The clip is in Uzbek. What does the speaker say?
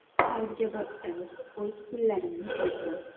Qarzga botdim, o‘z pullarimni berdim.